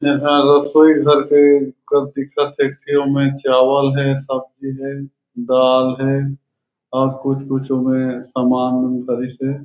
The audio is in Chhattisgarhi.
में हा रसोई घर के कस दिखत हे ते ओमे चावल हे सब्जी हे दाल हे और कुछ -कुछ ओमे समान भी पड़िस हे।